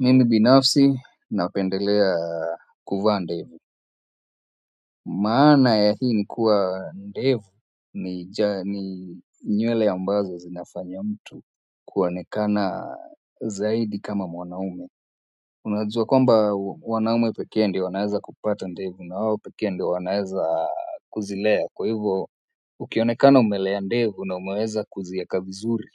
Mimi binafsi napendelea kuvaa ndevu. Maana ya hii ni kuwa, ndevu ni nywele ambazo zinafanya mtu kuonekana zaidi kama mwanaume. Unajuwa kwamba wanaume pekee ndo wanaweza kupata ndevu na wao pekee ndo wanaweza kuzilea kwa hivyo, ukionekana umelea ndevu na umeweza kuzieka vizuri,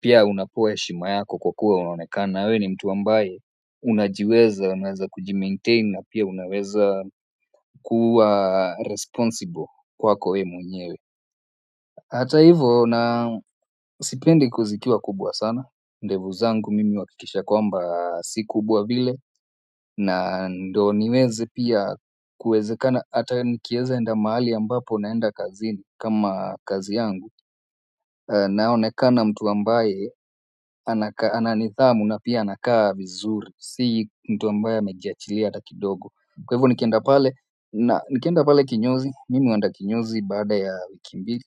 pia unapewa heshima yako kwa kuwa unaonekana. Na we ni mtu ambaye unajiweza, unaweza kujimaintain na pia unaweza kuwa responsible kwako wewe mwenyewe. Hata hivo na sipendi zikiwa kubwa sana. Ndevu zangu mimi huhakikisha kwamba si kubwa vile. Na ndo niweze pia kuezekana hata nikieza enda mahali ambapo naenda kazini kama kazi yangu. Naonekana mtu ambaye ana nithamu na pia anakaa vizuri. Sii mtu ambaye amejiachilia hata kidogo kwa hivo nikenda pale na nikenda pale kinyozi mimi huenda kinyozi baada ya wiki mbili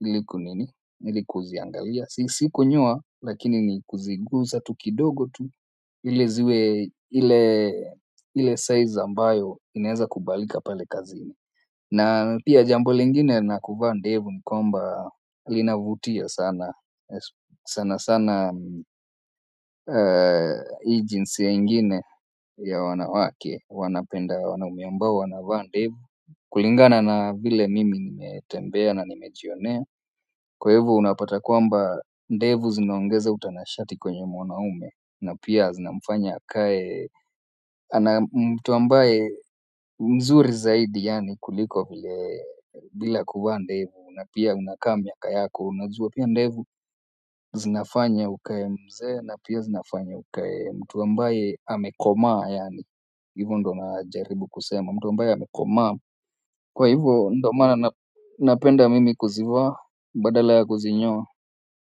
ili ku nini ili kuziangalia si kunyoa lakini ni kuziguza tu kidogo tu ili ziwe ile size ambayo inaeza kubalika pale kazini na pia jambo lingine na kuvaa ndevu ni kwamba linavutia sana sana sana hii jinsia ingine ya wanawake, wanapenda wanaume ambao wanavaa ndevu kulingana na vile mimi nimetembea na nimejionea kwa hivo unapata kwamba ndevu zinaongeza utanashati kwenye mwanaume na pia zinamfanya akae ana mtu ambaye mzuri zaidi yaani kuliko vile bila kuvaa ndevu na pia unakaa miaka yako unajua pia ndevu zinafanya ukae mzee na pia zinafanya ukae mtuw ambaye amekomaa yaani, hivyo ndo najaribu kusema, mtu ambaye amekomaa, kwa hivyo ndo maana napenda mimi kuzivaa badala ya kuzinyoa.